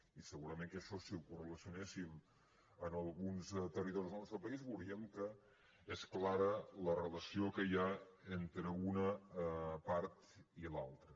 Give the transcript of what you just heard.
i segurament que això si ho correlacionéssim en alguns territoris del nostre país veuríem que és clara la relació que hi ha entre una part i l’altra